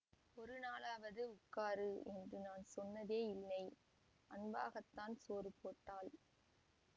ஒரு நாளாவது உட்காரு என்று நான் சொன்னதே இல்லை அன்பாகத்தான் சோறு போட்டாள்